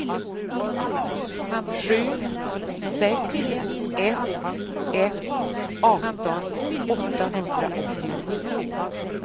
sju sex ett ett arton åttahundraåttionio